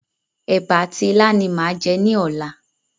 Èbà àti ilá ni màá jẹ ní ọ̀la.